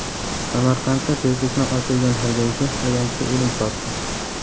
Samarqandda tezlikni oshirgan haydovchi ayanchli o‘lim topdi.